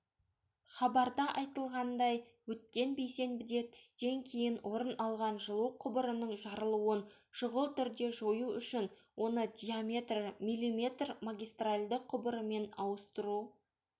хабарда айтылғандай өткен бейсенбіде түстен кейін орын алған жылу құбырының жарылуын шұғыл түрде жою үшін оны диаметрі мм магистральды құбырымен ауыстыру